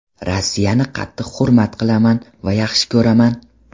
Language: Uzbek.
Rossiyani qattiq hurmat qilaman va yaxshi ko‘raman.